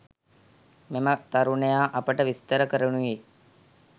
මෙම තරුණයා අපට විස්තර කරනුයේ